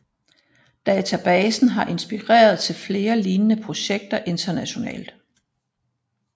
Databasen har inspireret til flere lignende projekter internationalt